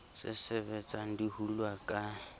se sebetsang di hulwa ka